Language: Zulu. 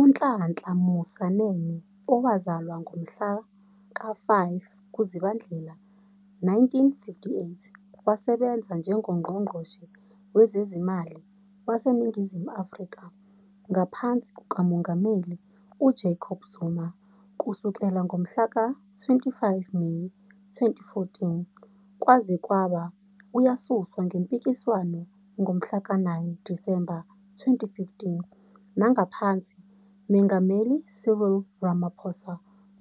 UNhlanhla Musa Nene, owazalwa ngomhlaka 5 kuZibandlela 1958, wasebenza njengoNgqongqoshe Wezezimali waseNingizimu Afrika ngaphansi kukaMongameli uJacob Zuma kusukela ngomhlaka 25 Meyi 2014 kwaze kwaba uyasuswa ngempikiswano ngomhlaka 9 Disemba 2015,nangaphansi Mengameli Cyril Ramaphosa